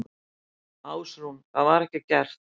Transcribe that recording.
Ásrún: Það var ekki gert?